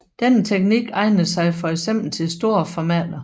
Denne teknik egner sig for eksempel til store formater